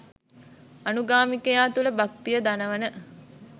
අනුගාමිකයා තුල භක්තිය දනවන